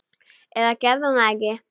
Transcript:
Eða gerði hún það ekki?